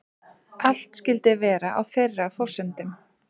Allt skyldi vera á þeirra forsendum